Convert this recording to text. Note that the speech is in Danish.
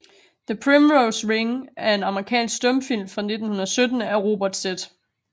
The Primrose Ring er en amerikansk stumfilm fra 1917 af Robert Z